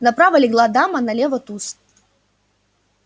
направо легла дама налево туз